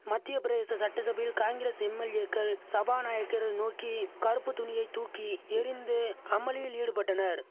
மத்தியப்பிரதேச சட்டசபையில் காங்கிரஸ் எம்எல்ஏக்கள் சபாநாயக்கரை நோக்கி கறுப்பு துணியைத் தூக்கி எறிந்து அமளியில் ஈடுபட்டனர்